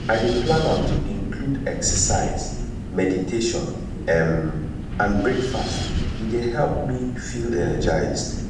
i dey plan am to include exercise meditation um and breakfast e dey help me feel energized